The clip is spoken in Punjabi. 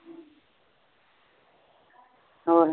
ਹੋਰ